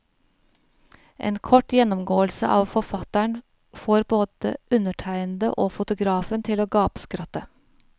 En kort gjennomgåelse av forfatteren får både undertegnede og fotografen til å gapskratte.